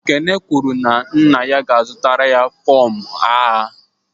Ekene kwuru na nna ya ga-azụtara ya fọm agha